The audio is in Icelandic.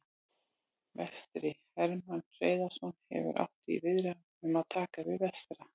Vestri: Hermann Hreiðarsson hefur átt í viðræðum um að taka við Vestra.